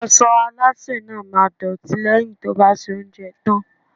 Aṣọ iṣẹ́ Alásè náà máa dọ̀tí lẹ́yìn tí ó bá soúnjẹ tán.